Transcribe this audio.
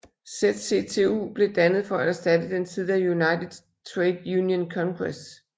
ZCTU blev dannet for at erstatte den tidligere United Trade Union Congress